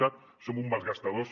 cat som uns malgastadors